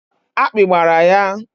Akpị gbara ya.